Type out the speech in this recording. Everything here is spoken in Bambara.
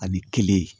Ani kelen